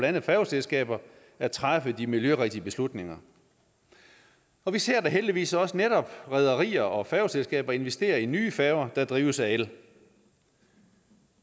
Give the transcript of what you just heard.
andet færgeselskaber at træffe de miljørigtige beslutninger og vi ser da heldigvis også netop rederier og færgeselskaber investere i nye færger der drives af el